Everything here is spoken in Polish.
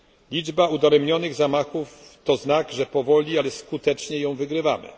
Liczba udaremnionych zamachów to znak, że powoli, ale skutecznie ją wygrywamy.